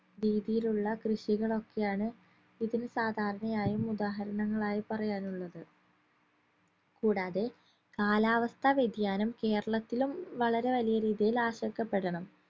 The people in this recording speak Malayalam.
രീതിയിലുള്ള കൃഷികളൊക്കെയാണ് ഇതിന് സാധാരണയായും ഉദാഹരങ്ങളായി പറയാനുള്ളത് കൂടാതെ കാലാവസ്ഥ വ്യതിയാനം കേരളത്തിലും വളരെ വലിയ രീതിയിൽ ആശങ്കപ്പെടണം